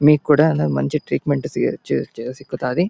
మీకు కూడా అలా మంచి ట్రీట్మెంట్ ]